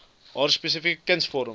haar spesifieke kunsvorm